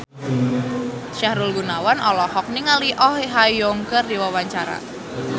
Sahrul Gunawan olohok ningali Oh Ha Young keur diwawancara